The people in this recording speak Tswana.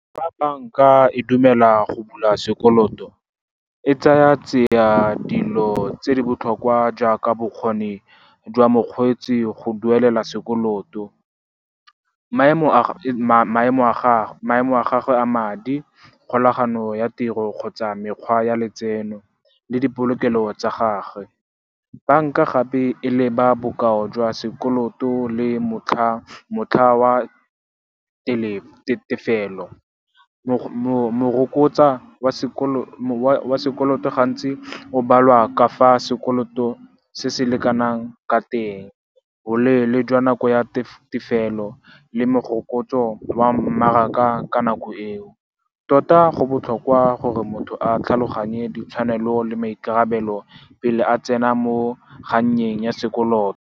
Fa banka e dumela go bula sekoloto, e tsaya tsia dilo tse di botlhokwa jaaka bokgoni jwa mokgweetsi go duelela sekoloto, maemo a gagwe a madi, kgolagano ya tiro kgotsa mekgwa ya letseno le dipolokelo tsa gagwe. Banka gape e leba bokao jwa sekoloto le motlha wa tefelo morokotsa wa sekoloto gantsi o balwa kafa sekoloto se se lekanang ka teng, boleele jwa nako ya tefelo le morokotso wa mmaraka ka nako eo. Tota, go botlhokwa gore motho a tlhaloganye ditshwanelo le maikarabelo pele a tsena mo kgannyeng ya sekoloto.